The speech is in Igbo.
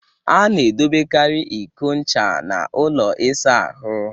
Ana edobekari iko ncha n'ụlọ isa ahụ.